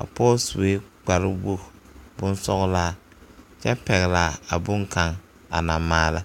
a pɔge sue kpare wogi boŋ sɔglaa kyɛ pɛgle a boŋ kaŋ a naŋ maala.